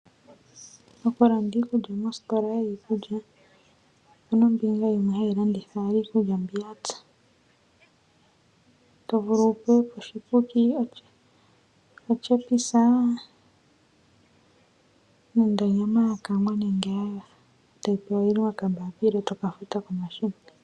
Okulanda iikulya moositola yiikulya . Opena ombinga yimwe hayi landitha iikulya mbi yapya tovulu kutya otyepisa nenge onyama yakangwa nenge ya topolelwa pokambapila eto kafuta pomashina